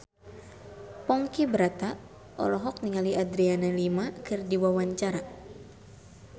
Ponky Brata olohok ningali Adriana Lima keur diwawancara